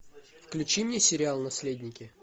включи мне сериал наследники